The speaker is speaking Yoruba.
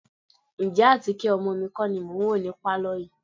Ǹjẹ́ àtíkè ọmọ mi kọ́ ni mò ń wò ní pálọ̀ yìí?